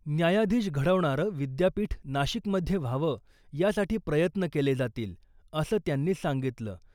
न्यायाधीश घडवणारं विद्यापीठ नाशिकमध्ये व्हावं, यासाठी प्रयत्न केले जातील, असं त्यांनी सांगितलं.